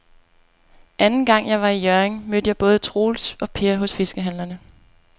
Anden gang jeg var i Hjørring, mødte jeg både Troels og Per hos fiskehandlerne.